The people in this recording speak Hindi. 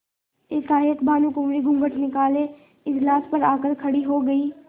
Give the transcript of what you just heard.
एकाएक भानुकुँवरि घूँघट निकाले इजलास पर आ कर खड़ी हो गयी